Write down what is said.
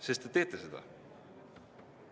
Sest te teete seda.